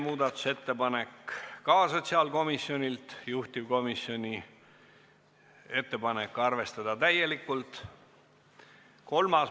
Muudatusettepanek nr 2 on sotsiaalkomisjonilt, juhtivkomisjoni ettepanek: arvestada täielikult.